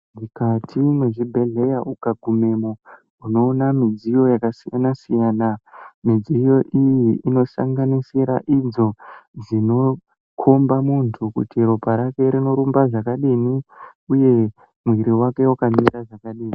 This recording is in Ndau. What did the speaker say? Mukati mezvibhedleya ukagumemo, unowona midziyo yakasiyana siyana ,midziyo iyi inoshanda nenzira idzo dzinokomba muntu kuti ropa rake rinorumba zvakadini uye muiri wake wakamira zvakadini.